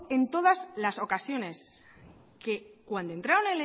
en todas la ocasiones que cuando entraron